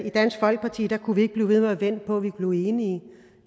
i dansk folkeparti ikke kunne blive ved med at vente på at vi blev enige